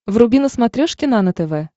вруби на смотрешке нано тв